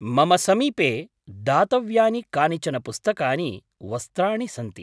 मम समीपे दातव्यानि कानिचन पुस्तकानि, वस्त्राणि सन्ति।